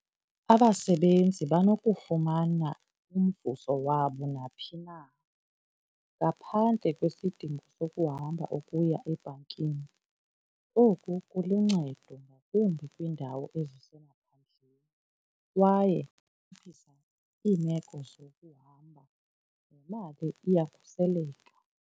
Abasebenzi banokufumana umvuzo wabo naphi na ngaphandle kwesidingo sokuhamba ukuya ebhankini. Oku kuluncedo ngakumbi kwiindawo ezisemaphandleni kwaye iphelisa iimeko zokuhamba nemali iyakhuseleka.